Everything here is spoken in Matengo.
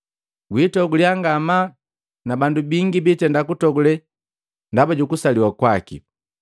Gwiitoguliya ngamaa na bandu bingi bitenda kutogule ndaba jukusaliwa kwaki.